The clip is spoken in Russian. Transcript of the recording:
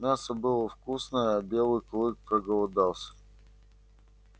мясо было вкусное а белый клык проголодался